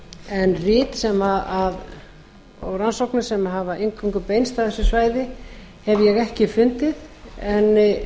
en rit og rannsóknir sem hafa eingöngu beinst að þessu svæði hef ég ekki fundið en